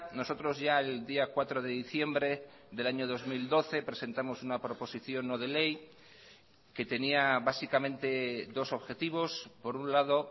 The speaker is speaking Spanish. nosotros ya el día cuatro de diciembre del año dos mil doce presentamos una proposición no de ley que tenía básicamente dos objetivos por un lado